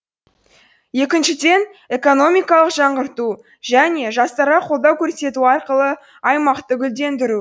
екіншіден экономикалық жаңғырту және жастарға қолдау көрсету арқылы аймақты гүлдендіру